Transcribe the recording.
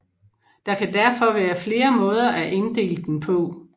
Der kan derfor være flere måder at inddele den på